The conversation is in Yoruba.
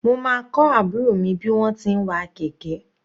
Mo máa kọ́ àbúrò mi bí wọ́n ti ń wa kẹ̀kẹ́.